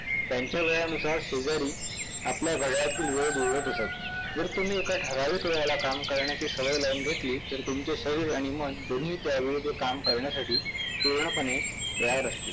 त्यांच्या वेळानुसार शेजारी आपल्या घड्याळातील वेळ जुळवत असत. जर तुम्ही एका ठराविक वेळेला काम करण्याची सवय जर लावून घेतली तर तुमच शरीर आणि मन दोन्ही त्यावेळी ते काम करण्यासाठी पूर्णपणे तयार राहतील.